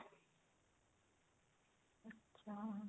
ਅੱਛਾ